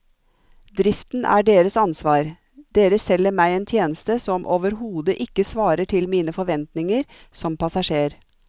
Driften er deres ansvar, dere selger meg en tjeneste som overhodet ikke svarer til mine forventninger som passasjer.